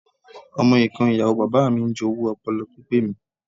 Ọmọ ìkan Ìyàwó bàbáà mi ń jowú ọpọlọ pípé mi.